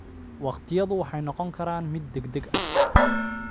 Waqtiyadu waxay noqon karaan mid degdeg ah.